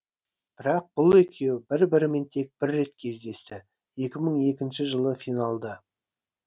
бірақ бұл екеуі бір бірімен тек бір рет кездесті екі мың екінші жылы финалда